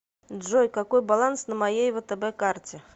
джой какой баланс на моей втб карте